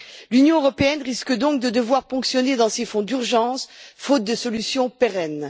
L'Union européenne risque donc de devoir ponctionner ses fonds d'urgence, faute de solution pérenne.